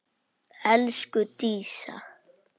Elsku Dísa.